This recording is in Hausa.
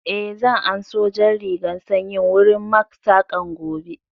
Eh, zan an so jan rigan sanyin wurin Mak saƙan gobe